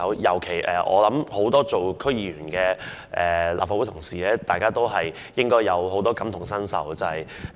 尤其是，身兼區議員的立法會議員應該感同身受。